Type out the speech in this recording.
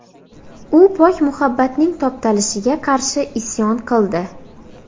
U pok muhabbatning toptalishiga qarshi isyon qildi.